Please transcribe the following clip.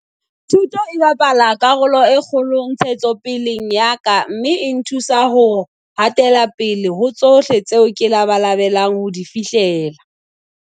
Thuto e bapala karolo e kgolo ntshetsopeleng ya ka mme e nthusa ho ha tela pele ho tsohle tseo ke labalabelang ho di fihlella.